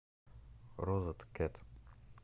розеткед